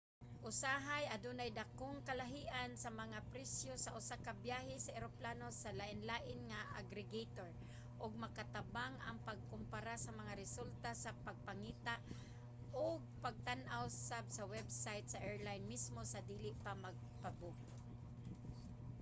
usahay adunay dakong kalahian sa mga presyo sa usa ka biyahe sa eroplano sa lainlaing mga aggregator ug makatabang ang pagkumpara sa mga resulta sa pagpangita ug pagtan-aw sad sa website sa airline mismo sa dili pa magpa-book